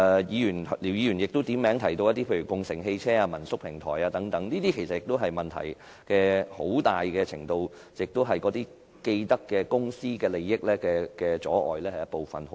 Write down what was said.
姚議員亦點名提到共乘汽車、民宿平台等，其實它們的發展出現問題，很大程度是受到既得利益公司阻礙。